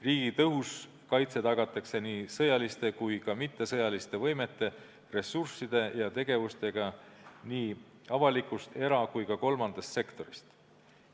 Riigi tõhus kaitse tagatakse nii sõjaliste kui ka mittesõjaliste võimete, ressursside ja tegevustega nii avalikust, era- kui ka kolmandast sektorist.